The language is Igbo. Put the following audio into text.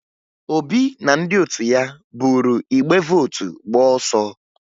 Obi na ndị otu ya buru igbe vootu gbaa ọsọ